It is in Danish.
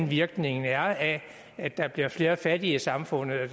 virkningen er af at der bliver flere fattige i samfundet og